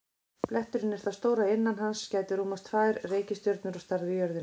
Bletturinn er það stór að innan hans gætu rúmast tvær reikistjörnur á stærð við jörðina.